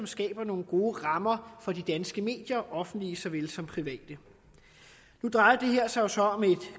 skaber nogle gode rammer for de danske medier offentlige såvel som private nu drejer det her sig jo så om et